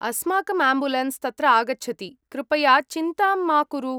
अस्माकं आम्बुलेन्स् तत्र आगच्छति, कृपया चिन्तां मा कुरु।